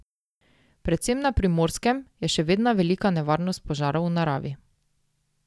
Predvsem na Primorskem je še vedno velika nevarnost požarov v naravi.